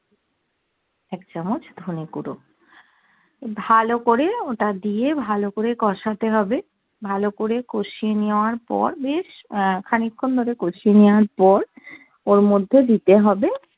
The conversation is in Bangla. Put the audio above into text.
এক চামচ ধনে গুঁড়ো ভালো করে ওটা দিয়ে ভালো করে কষাতে হবে ভালো করে কষিয়ে নেয়ার পর বেশ আহ খানি খুন ধরে কসিয়ে নেয়ার পর ওর মধ্যেই দিতে হবে